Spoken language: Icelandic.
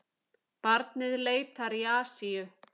Barnið leitar í Asíu